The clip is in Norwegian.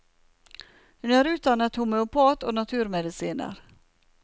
Hun er utdannet homøopat og naturmedisiner.